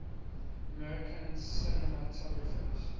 american cinematographers